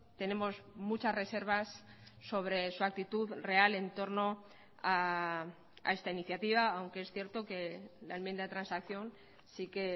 tenemos muchas reservas sobre su actitud real en torno a esta iniciativa aunque es cierto que la enmienda de transacción sí que